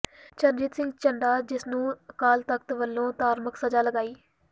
ਚਰਨਜੀਤ ਸਿੰਘ ਚੱਢਾ ਜਿਸ ਨੂੰ ਅਕਾਲ ਤਖ਼ਤ ਵਲੋਂ ਧਾਰਮਕ ਸਜ਼ਾ ਲਗਾਈ